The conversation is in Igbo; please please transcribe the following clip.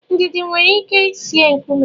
Ndidi nwere ike ị sie nkume.